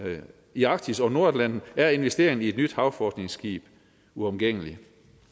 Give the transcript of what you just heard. i arktis og nordatlanten er investeringen i et nyt decideret havforskningsskib uomgængelig